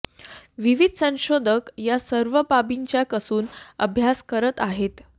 विविध संशोधक या सर्व बाबींचा कसून अभ्यास करत आहेत